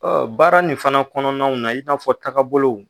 Ɔ baara nin fana kɔnɔnaw na i n'a fɔ taga bolow